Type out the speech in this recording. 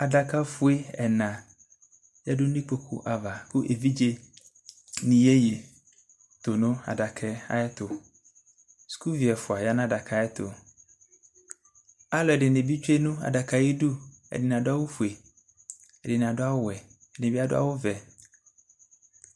Adaka fue ɛna yadʋ nʋ ikpokʋ ava kʋ evidze nʋ iyeye tʋnʋ adakaɛ tʋ sʋkʋvi ɛfʋa yanʋ adaka ɛtʋ alʋedɩni bi tsʋe nʋ adakaɛ ayidʋ ɛdini adʋ awʋfue ɛdini adʋ awʋwɛ ɛdinibi adʋ awʋvɛ